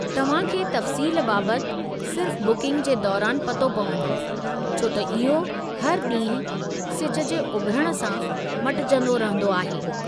तव्हां खे तफ़्सील बाबति सिर्फ़ु बुकिंग जे दौरानि पतो पवंदो, छो त इहो हर ॾींहुं सिज जे उभिरण सां मटिजंदो रहंदो आहे।